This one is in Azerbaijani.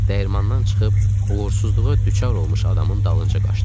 Dəyirmandan çıxıb uğursuzluğa düçar olmuş adamın dalınca qaçdıq.